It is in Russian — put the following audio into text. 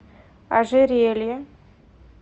ожерелье